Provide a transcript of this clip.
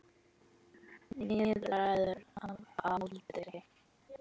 Níræður að aldri.